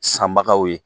Sanbagaw ye